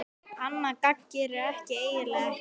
Annað gagn gerir hann eiginlega ekki.